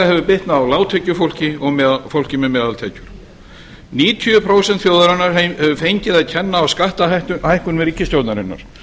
hefur bitnað á lágtekjufólki og fólki með meðaltekjur níutíu prósent þjóðarinnar hefur fengið að kenna á skattahækkun ríkisstjórnarinnar